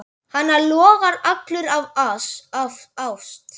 Hann logar allur af ást.